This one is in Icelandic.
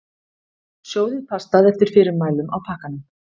Sjóðið pastað eftir fyrirmælum á pakkanum.